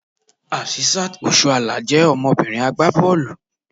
Asisat Oshoala je ọmọbìnrin agbá bọ́ọ̀lù.